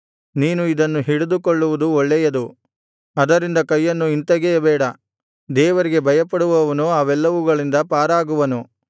ನೀನು ಇದನ್ನು ಹಿಡಿದುಕೊಳ್ಳುವುದು ಒಳ್ಳೆಯದು ಅದರಿಂದ ಕೈಯನ್ನು ಹಿಂತೆಗೆಯಬೇಡ ದೇವರಿಗೆ ಭಯಪಡುವವನು ಅವೆಲ್ಲವುಗಳಿಂದ ಪಾರಾಗುವನು